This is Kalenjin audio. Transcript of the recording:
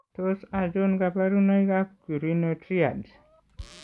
Tos achon kabarunaik ab Currrino triad ?